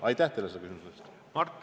Aitäh teile selle küsimuse eest!